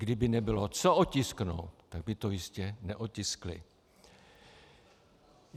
Kdyby nebylo co otisknout, tak by to jistě neotiskli.